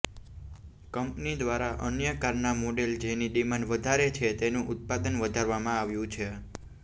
company દ્વારા અન્ય કારના મોડેલ જેની ડિમાન્ડ વધારે છે તેનું ઉત્પાદન વધારવામાં આવ્યું છે